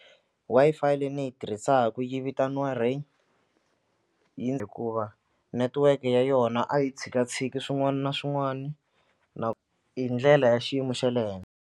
Wi-Fi leyi ni yi tirhisaka yi vitaniwa Rain hikuva network ya yona a yi tshikatshiki swin'wana na swin'wana na hi ndlela ya xiyimo xa le henhla.